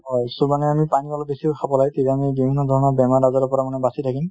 so মানে আমি পানী অলপ বেছিকৈ খাব লাগে তেতিয়া আমি বিভিন্ন ধৰনৰ বেমাৰ আজাৰৰ পৰা মানে আমি বাছি থাকিম |